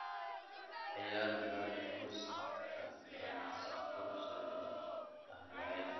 ciyaar podcast-ka aan sifo sharci ah lahayn